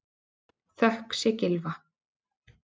Þökk sé Gylfa